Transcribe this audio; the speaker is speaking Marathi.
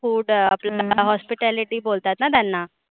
Food hospitality बोलतात ना त्यांना.